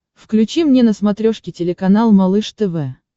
включи мне на смотрешке телеканал малыш тв